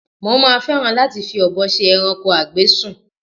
Mo máa fẹ́ràn láti fi ọ̀bọ ṣe ẹranko a gbé sùn